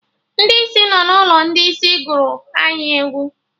Ndị isi nọ n'ụlọ ndị isi gụrụ anyị egwu